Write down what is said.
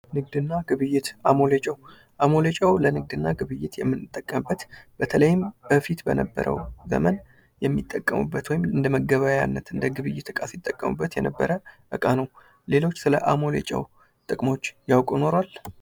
ንግድና ግብይት አሞሌ ጨው አሞሌ ጨው ለንግድና ግብይት የምንጠቀምበት በተለይም በፊት በነበረው ዘመን የሚጠቀሙበት ወይም እንደ እንደመገበያያነት እንደ ግብይት እቃ ሲጠቀሙበት የነበረ እቃ ነው። ሌሎች ስለ አሞሌ ጨው ጥቅሞች ያውቁ ኑሯል?